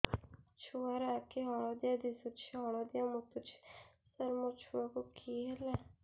ଛୁଆ ର ଆଖି ହଳଦିଆ ଦିଶୁଛି ହଳଦିଆ ମୁତୁଛି ସାର ମୋ ଛୁଆକୁ କି ହେଲା